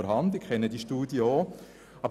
Ich kenne diese Studie auch.